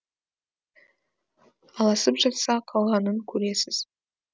ал асып жатса қалғанын көресіз